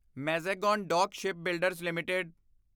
Mazagon dock shipbuilders LTD